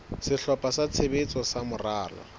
sehlopha sa tshebetso sa moralo